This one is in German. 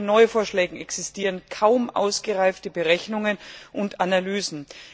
Auch zu den Neuvorschlägen existieren kaum ausgereifte Berechnungen und Analysen.